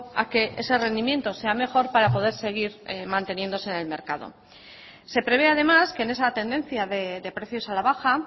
a que ese rendimiento sea mejor para poder seguir manteniéndose en el mercado se prevé además que en esa tendencia de precios a la baja